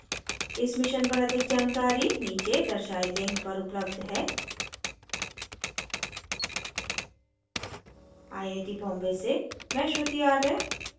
इस मिशन पर अधिक जानकारी नीचे दर्शाये लिंक पर उपलब्ध है